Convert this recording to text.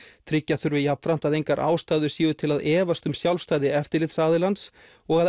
tryggja þurfi jafnframt að engar ástæður séu til að efast um sjálfstæði eftirlitsaðilans og að